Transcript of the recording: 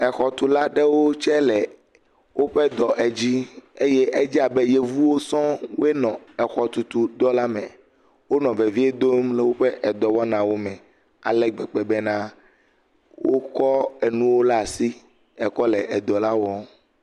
Exɔtula aɖewo tsɛ le woƒe dɔ edzi eye edze abe Yevuwoe sɔŋ enɔ exɔtutudɔla me. Wonɔ vevie dom le woƒe dɔwɔnawo me ale gbegbe bena wokɔ enuwo laa asi ekɔ le edɔla wɔm.